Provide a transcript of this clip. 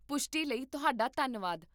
ਪੁਸ਼ਟੀ ਲਈ ਤੁਹਾਡਾ ਧੰਨਵਾਦ